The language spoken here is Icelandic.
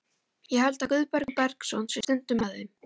Ég held að Guðbergur Bergsson sé stundum með þeim.